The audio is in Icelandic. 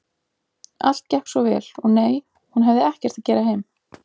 Allt gekk svo vel, og nei, hún hefði ekkert að gera heim.